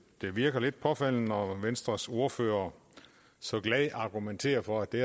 det virker lidt påfaldende når venstres ordfører så glad argumenterer for at det